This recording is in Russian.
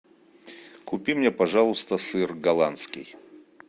купи мне пожалуйста сыр голландский